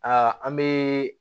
Aa an be